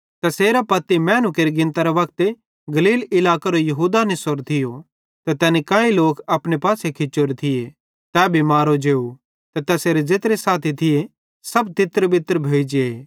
तैसेरां पत्ती मैनू केरे गिनतरे वक्ते गलील इलाकेरो यहूदा निसोरो थियो ते तैनी काई लोक अपने पासे खिचोरे थिये तै भी मारो जेव ते तैसेरे ज़ेत्रे साथी थिये सब तितरबितर भोइ जे